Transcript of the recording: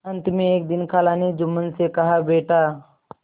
अंत में एक दिन खाला ने जुम्मन से कहाबेटा